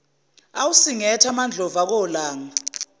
awusingethe amandlovu akolanga